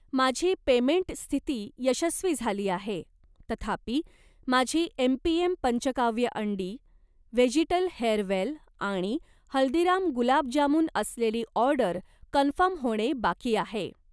माझी पेमेंट स्थिती यशस्वी झाली आहे, तथापि माझी एमपीएम पंचकाव्य अंडी, व्हेजीटल हेअरवेल आणि हल्दीराम गुलाब जामुन असलेली ऑर्डर कन्फर्म होणे बाकी आहे.